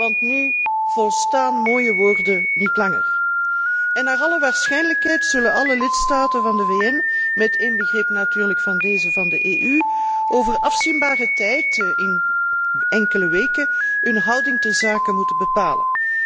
want nu volstaan mooie woorden niet langer. Naar alle waarschijnlijkheid zullen alle lidstaten van de VN, met inbegrip natuurlijk van de lidstaten van de EU, over afzienbare tijd, binnen enkele weken, hun houding terzake moeten bepalen.